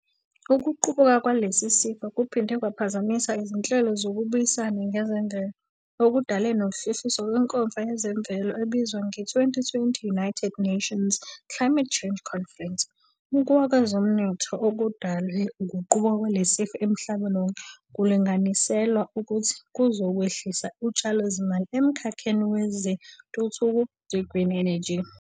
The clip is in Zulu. Ukuqubuka kwalesi sifo kuphinde kwaphazamisa izinhlelo zokubuyisana ngezemvelo, okudale nokuhlehliswa kwenkomfa yezemvelo ebizwa nge-2020 United Nations Climate Change Conference. Ukuwa kwezomnotho okudalwe ukuqubuka kwalesi sifo emhlabeni wonke kulinganiselwe ukuthi kuzokwehlisa utshalozimali emkhalheni wezentuthuko ze-green energy.